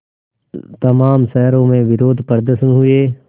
तमाम शहरों में विरोधप्रदर्शन हुए